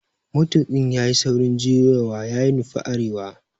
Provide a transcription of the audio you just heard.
Matuƙin yayi saurin juyowa ya nufi arewa